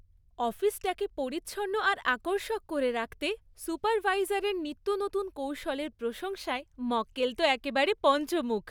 অফিসটাকে পরিচ্ছন্ন আর আকর্ষক করে রাখতে সুপারভাইজারের নিত্যনতুন কৌশলের প্রশংসায় মক্কেল তো একেবারে পঞ্চমুখ।